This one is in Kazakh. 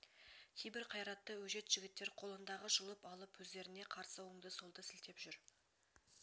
кейбір қайратты өжет жігіттер қолындағы жұлып алып өздерне қарсы оңды-солды сілтеп жүр